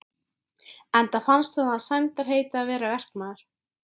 Enda fannst honum það sæmdarheiti að vera verkamaður.